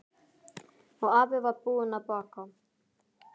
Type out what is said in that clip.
Og afi var búinn að baka.